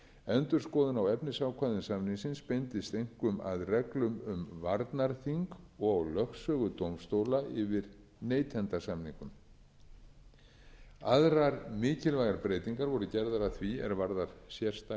endurskoðun á efnisákvæðum samningsins beindist einkum að reglum um varnarþing og lögsögu dómstóla yfir neytendasamningum aðrar mikilvægar breytingar voru gerðar að því er varðar sérstakri